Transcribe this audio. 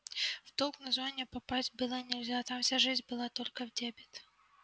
в долг на зоне попадать было нельзя там вся жизнь была только в дебет